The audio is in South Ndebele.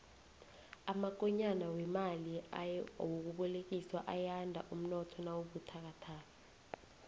amakonyana wemali yokubolekiswa ayanda umnotho nawubuthakathaka